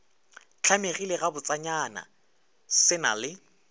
hlamegile gabotsenyana se na le